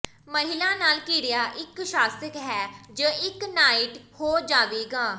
ਮਹਿਲਾ ਨਾਲ ਘਿਰਿਆ ਇੱਕ ਸ਼ਾਸਕ ਹੈ ਜ ਇੱਕ ਨਾਈਟ ਹੋ ਜਾਵੇਗਾ